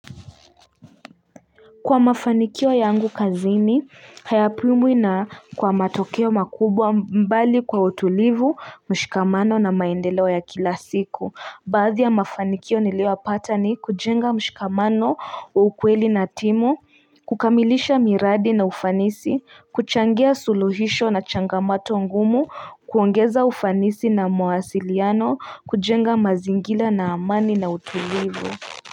Kwa mafanikio yangu kazini, hayapimuina kwa matokeo makubwa mbali kwa utulivu, mshikamano na maendelewa ya kila siku. Baadhi ya mafanikio niliyopata ni kujenga mshikamano wa ukweli na timu, kukamilisha miradi na ufanisi, kuchangia suluhisho na changamato ngumu, kuongeza ufanisi na mwasiliano, kujenga mazingila na amani na utulivu.